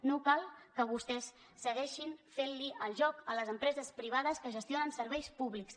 no cal que vostès segueixin fent li el joc a les empreses privades que gestionen serveis públics